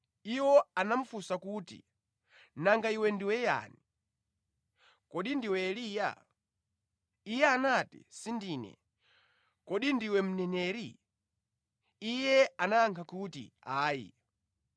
Iwo anamufunsa kuti, “Nanga iwe ndiwe yani? Kodi ndiwe Eliya?” Iye anati, “Sindine.” “Kodi ndiwe Mneneri?” Iye anayankha kuti, “Ayi.”